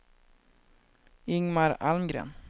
Ingmar Almgren